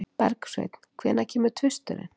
Bergsveinn, hvenær kemur tvisturinn?